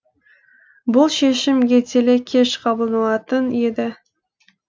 бұл шешім ертелі кеш қабылданатын еді